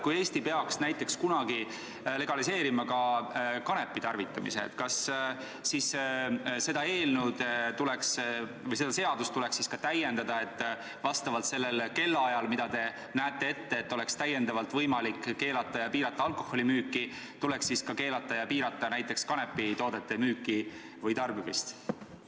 Kui Eesti peaks näiteks kunagi legaliseerima ka kanepi tarvitamise, kas seda seadust tuleks siis täiendada, et vastavalt sellele kellaajale, mida te ette näete selleks, et oleks täiendavalt võimalik keelata ja piirata alkoholimüüki, tuleks siis ka keelata ja piirata näiteks kanepitoodete müüki või tarbimist?